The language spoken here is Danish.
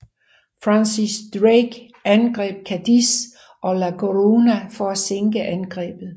Francis Drake angreb Cadiz og La Coruña for at sinke angrebet